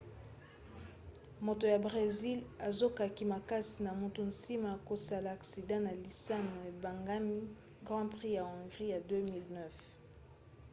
moto ya bresil azokaki makasi na motu nsima ya kosala aksida na lisano ebengami grand prix ya hongrie ya 2009